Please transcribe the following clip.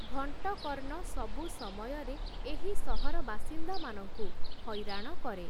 ଘଂଟକର୍ଣ୍ଣ ସବୁ ସମୟରେ ଏହି ସହର ବାସିନ୍ଦାମାନଙ୍କୁ ହଇରାଣ କରେ ।